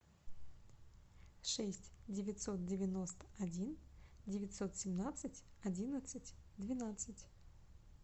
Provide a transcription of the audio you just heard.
шесть девятьсот девяносто один девятьсот семнадцать одиннадцать двенадцать